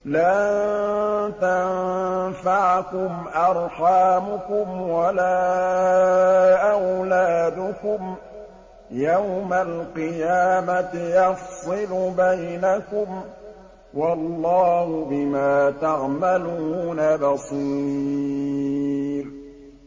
لَن تَنفَعَكُمْ أَرْحَامُكُمْ وَلَا أَوْلَادُكُمْ ۚ يَوْمَ الْقِيَامَةِ يَفْصِلُ بَيْنَكُمْ ۚ وَاللَّهُ بِمَا تَعْمَلُونَ بَصِيرٌ